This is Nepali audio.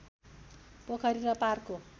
पोखरी र पार्कको